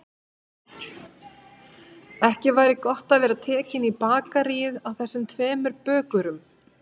Ekki væri gott að vera tekinn í bakaríið af þessum tveimur bökurum.